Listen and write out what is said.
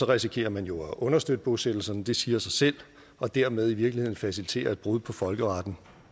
risikerer man jo at understøtte bosættelserne det siger sig selv og dermed i virkeligheden facilitere et brud på folkeretten